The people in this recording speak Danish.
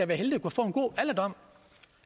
være heldige at få en god alderdom